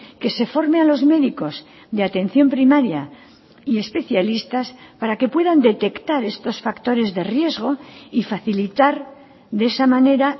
que se forme a los médicos de atención primaria y especialistas para que puedan detectar estos factores de riesgo y facilitar de esa manera